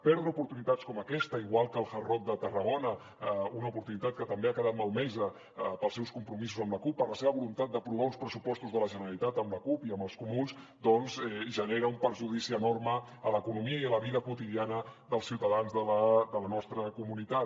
perdre oportunitats com aquesta igual que el hard rock de tarragona una oportunitat que també ha quedat malmesa pels seus compromisos amb la cup per la seva voluntat d’aprovar uns pressupostos de la generalitat amb la cup i amb els comuns doncs genera un perjudici enorme a l’economia i a la vida quotidiana dels ciutadans de la nostra comunitat